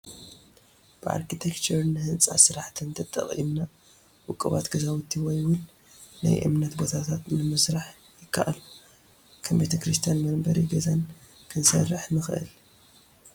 ብኣርክቴክቸርን ህንፃ ስራሕን ተጠቒምና ውቁባት ገዛውቲ ወይ ውን ናይ እምነት ቦታታት ንምስራሕ ይካኣል፡፡ ከም ቤተ ክርስትያንን መንበሪ ገዛን ክንሰርሕ ንኽእል፡፡